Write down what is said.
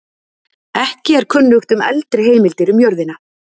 Ekki er kunnugt um eldri heimildir um jörðina.